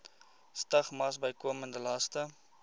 stigmas bykomende laste